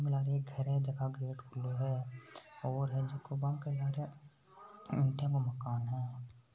लार एक घर को गेट खुला हैऔर झाको बाक ईट को मकान है।